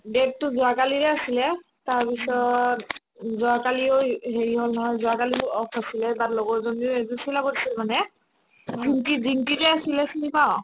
date তো যোৱাকালিৰে আছিলে তাৰপিছত যোৱাকালিও ই হেৰি হ'ল নহয় যোৱাকালিতো off নাছিলে but লগৰজনীৰ এযোৰ চিলাব দিছিল মানে ডিম্পি ডিম্পি যে আছিলে চিনি পাৱ